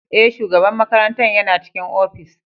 Ee, shugaban makarantar yana cikin ofis.